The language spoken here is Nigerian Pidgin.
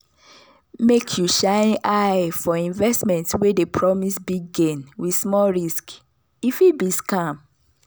make you shine eye for investment wey dey promise big gain with small risk e fit be scam.